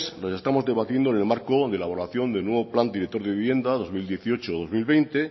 las estamos debatiendo en el marco de elaboración del nuevo plan director de vivienda dos mil dieciocho dos mil veinte